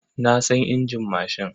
Na san injin mashin.